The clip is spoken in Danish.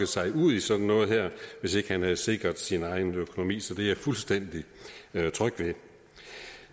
sig lokke ud i sådan noget her hvis ikke han havde sikret sin egen økonomi så det er jeg fuldstændig tryg